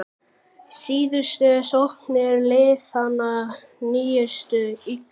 Síðustu sóknir liðanna nýttust illa.